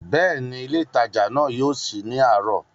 Bẹ́ẹ̀ni, ilé ìtajà náà yóò sí ní àárọ̀